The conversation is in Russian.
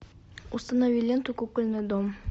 установи ленту кукольный дом